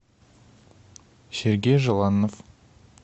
сергей желанов